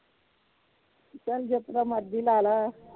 ਚਲ ਜਿਸ ਤਰ੍ਹਾਂ ਮਰਜੀ ਲਾਲਾ